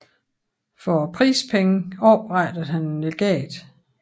For prispengene oprettede han et legat